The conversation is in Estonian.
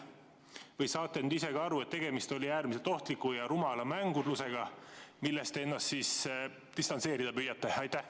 Või saate nüüd ise ka aru, et tegemist oli äärmiselt ohtliku ja rumala mängurlusega, millest te ennast nüüd distantseerida püüate?